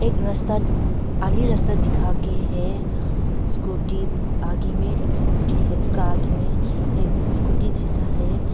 एक रास्ता खाली रास्ता दिखा के है स्कूटी आगे में एक स्कूटी है उसका आगे में एक स्कूटी जैसा है।